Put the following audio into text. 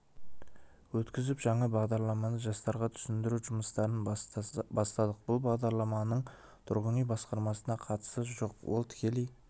өткізіп жаңа бағдарламаны жастарға түсіндіру жұмыстарын бастадық бұл бағдарламаның тұрғынүй басқармасына қатысы жоқ ол тікелей